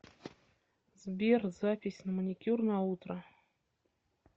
сбер запись на маникюр на утро